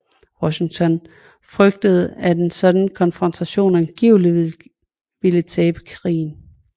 Washington frygtede at en sådan konfrontation antagelig ville tabe krigen